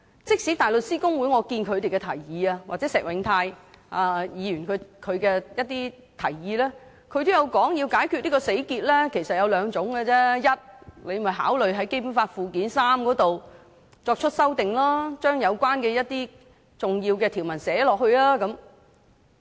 即使是香港大律師公會的提議——或石永泰的提議——也指出，要解開這個死結其實只有兩種做法：第一，考慮透過《基本法》附件三作出修訂，把有關的重要條文寫進去。